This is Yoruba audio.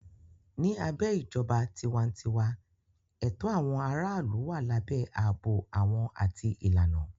Ní abẹ́ ìjọba tiwantiwa, ẹ̀tọ́ àwọn aráàlú wà lábẹ́ ààbò àwọn àti ìlànà.